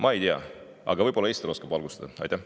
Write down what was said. Ma ei tea, aga võib-olla Ester oskab valgustada.